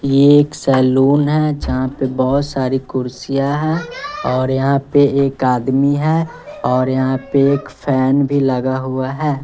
ये एक सैलून है जहां पर बहुत सारी कुर्सियां है और यहा पे एक आदमी है और यहा पे एक फैन भी लगा हुआ है